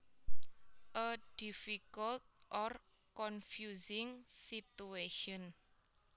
A difficult or confusing situation